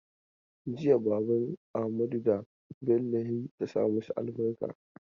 Jiya baban Amadu da Bello ya yi ta sa masu albarka.